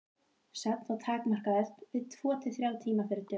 Svefn var takmarkaður við tvo til þrjá tíma fyrir dögun.